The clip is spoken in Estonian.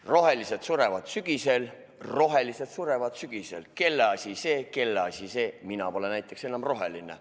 "Rohelised surevad sügisel rohelised surevad sügisel / Kelle asi see kelle asi see / Mina pole näiteks enam roheline.